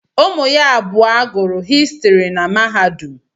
Ụmụ ya abụọ gụrụ Histiri na mahadum.